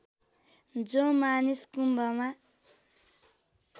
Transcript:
जो मानिस कुम्भमा